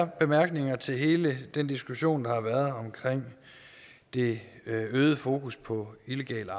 bemærkninger til hele den diskussion der har været omkring det øgede fokus på illegal